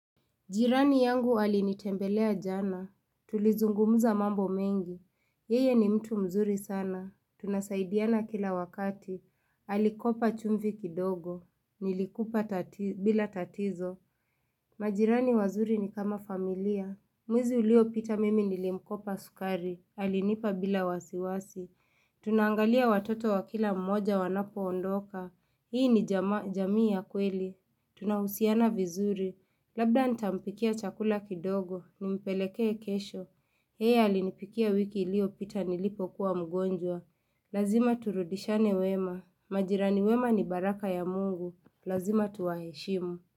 Jirani yangu alinitembelea jana, tulizungumuza mambo mengi, yeye ni mtu mzuri sana, tunasaidiana kila wakati, alikopa chumvi kidogo, nilikupa bila tatizo. Majirani wazuri ni kama familia, mwezi ulio pita mimi nilimkopa sukari, alinipa bila wasiwasi. Tunangalia watoto wa kila mmoja wanapo ondoka, hii ni jamii ya kweli. Tunahusiana vizuri, labda nitampikia chakula kidogo, nimpelekee kesho yeye alinipikia wiki ilio pita nilipo kuwa mgonjwa Lazima turudishane wema, majirani wema ni baraka ya mungu Lazima tuwaheshimu.